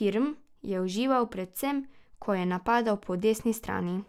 Kirm je užival predvsem, ko je napadal po desni strani.